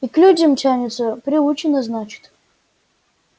и к людям тянется приучена значит